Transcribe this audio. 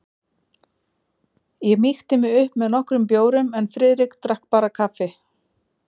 Ég mýkti mig upp með nokkrum bjórum en Friðrik drakk bara kaffi.